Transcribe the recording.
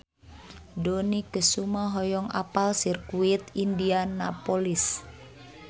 Dony Kesuma hoyong apal Sirkuit Indianapolis